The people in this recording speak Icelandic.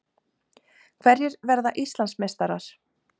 Hverjir verða Íslandsmeistarar?